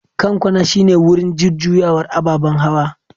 Kan kwana shine wurin jujjuyawar ababen hawa.